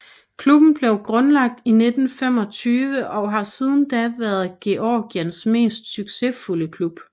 Klubben blev grundlagt i 1925 og har siden da været Georgiens mest succesfulde klub